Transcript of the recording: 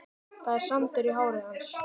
Það er sandur í hári hans.